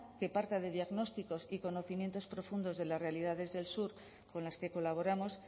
que parta de diagnósticos y conocimientos profundos de las realidades del sur con las que colaboramos